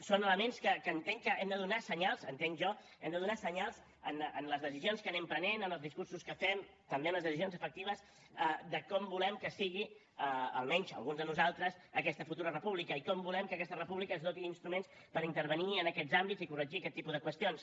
són elements en què entenc que hem de donar senyals entenc jo en les decisions que anem prenent en els discursos que fem també en les decisions efectives de com volem que sigui almenys alguns de nosaltres aquesta futura república i com volem que aquesta república es doti d’instruments per intervenir en aquests àmbits i corregir aquest tipus de qüestions